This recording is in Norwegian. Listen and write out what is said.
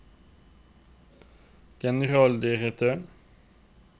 generaldirektøren